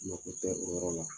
Ŋɔ ko tɛ o yɔrɔ la.